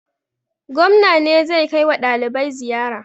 Gwamna ne zai kai wa ɗalibai ziyara.